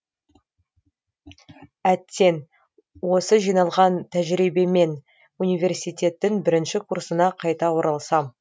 әттең осы жиналған тәжірибеммен университеттің бірінші курсына қайта оралсам